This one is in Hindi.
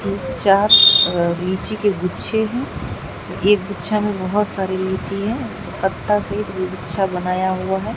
चार अ लीची के गुच्छे हैं एक गुच्छा में बहोत सारी लीची है पत्ता से गुच्छा बनाया हुआ है।